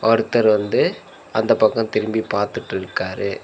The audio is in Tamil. ஒருத்தர் வந்து அந்த பக்கொ திரும்பி பாத்துட்டுருக்காரு.